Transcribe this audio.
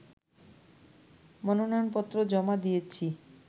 মনোনয়নপত্র জমা দিয়েছি